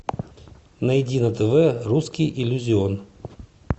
найди на тв русский иллюзион